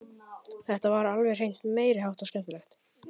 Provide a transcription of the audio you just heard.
Þetta var alveg meiri háttar skemmtilegt!